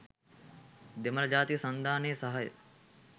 දෙමළ ජාතික සන්ධානයේ සහාය